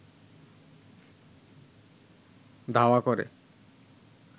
ধাওয়া করে